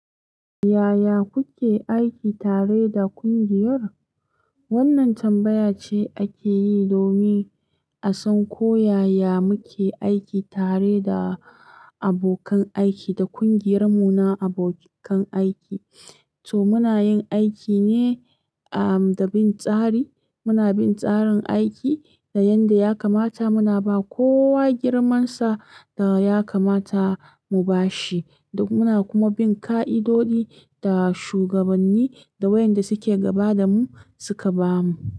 Yaya kuke aiki tare da ƙungiyar? Wannan tambaya ce ake yi domin a san ko yaya muke aiki tare da abokan aiki da ƙungiyar mu na abokan aiki. To muna yin aiki ne ah, da bin tsari. Muna bin tsarin aiki da yadda ya kamata muna ba kowa girman sa da ya kamata mu bashi. Muna kuma bin ka'idoji da shugabanni da wayanda suke gaba da mu suka bamu.